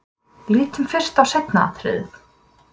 Lítum fyrst á seinna atriðið.